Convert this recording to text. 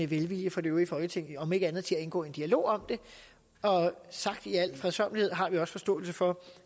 velvilje fra det øvrige folketing om ikke andet så til at indgå en dialog om det sagt i al fredsommelighed har vi også forståelse for